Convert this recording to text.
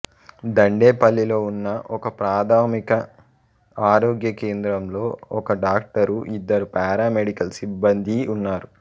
దండేపల్లిలో ఉన్న ఒకప్రాథమిక ఆరోగ్య కేంద్రంలో ఒక డాక్టరు ఇద్దరు పారామెడికల్ సిబ్బందీ ఉన్నారు